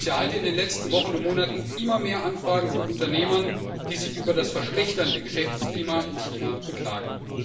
Ich erhalte in den letzten Wochen und Monaten immer mehr Anfragen von Unternehmern, die sich über das sich verschlechternde Geschäftsklima in China beklagen.